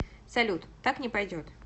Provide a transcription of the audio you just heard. салют так не пойдет